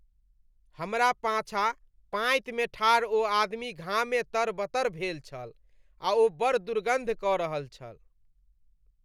हमरा पाछाँ पाँति मे ठाढ़ ओ आदमी घामे तरबतर भेल छल आ ओ बड़ दुर्गन्ध कऽ रहल छल।